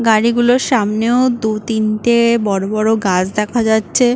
গাড়িগুলোর সামনেও দু তিনটে বড় বড় গাছ দেখা যাচ্ছে।